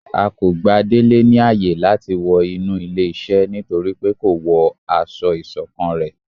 A kò gbà délé ní áye làti wọ inú ilé iṣẹ nítorípé ko wọ aṣọ isokán ré